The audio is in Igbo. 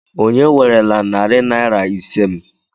Onye werela narị naira ise m?